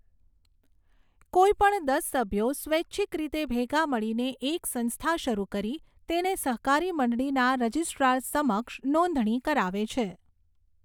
કોઈ પણ દસ સભ્યો સ્વૈચ્છિક રીતે ભેગા મળીને એક સંસ્થા શરૂ કરી તેને સહકારી મંડળીના રજીસ્ટ્રાર સમક્ષ નોંધણી કરાવે છે.